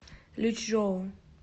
лючжоу